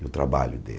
E o trabalho dele.